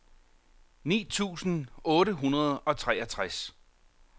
ni tusind otte hundrede og treogtres